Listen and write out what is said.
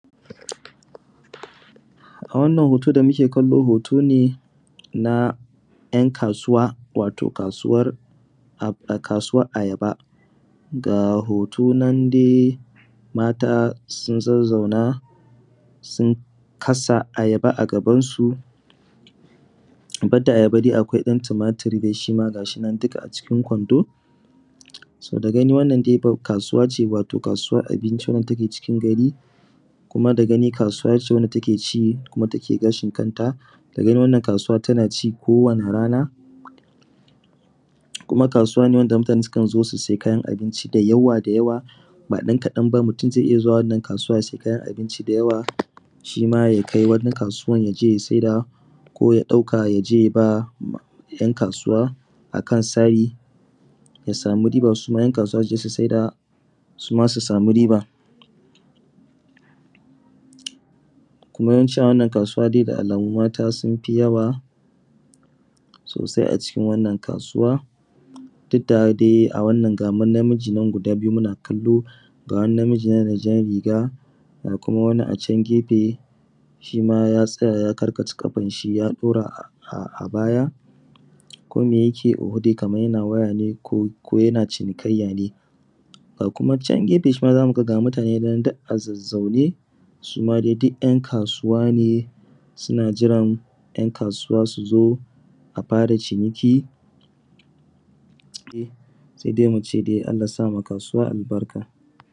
A wannan hoto sa muke kallo hoto ne na ’yan kasuwa wato kasuwar ayaba. Ga hoto nan dai mata sun zazzauna sun kasa ayaba a gaban su. Banda ayaba dai akwai ɗan tumatur dai shima ga shi nan duk a cikin kwando. To da gani wannan dai kasuwa ce wato kasuwar abinci wadda take cikin gari, kuma da gani kasuwa ce wadda take ci kuma take gashin kanta. Da gani wannan kasuwa tana ci ko wani rana, kuma kasuwa ce wadda mutane sukan zo su sayi kayan abinci da yawa-da-yawa ba ɗan kaɗan ba. Mutum zai iya zuwa wannan kasuwa ya sayi abinci da yawa shima ya kai wata kasuwa ya je ya saida ko ya ɗauka ya je ya ba ’yan kasuwa akan sari ya samu riba, suma ’yan kasuwa su je su saida suma su samu riba. Kuma yawanci a wannan kasuwa da alamu mata sun fi yawa sosai a cikin wannan kasuwa duk da dai a nan ga wani namiji nan muna kallo, ga kuma wani namiji nan da jan riga, ga kuma wani a can gefe shima ya tsaya ya karkata ƙafansa ya dora a baya, kome yake yi oho, dai kamar yana waya ne ko yana cinikayya ne. A kuma can gefe shima za mu ga ga mutane nan can a zazzaune, suma dai duk ’yan kasuwa ne suna jiran ’yan kasuwa su zo a fara ciniki. Sai dai mu ce dai Allah ya sa ma kasuwa albarka.